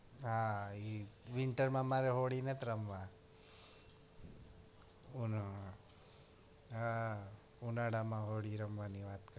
હા ઈ winter માં મારે હોળી નથ રમવા અને હાં ઉનાળા માં હોળી રમાવની વાત કરે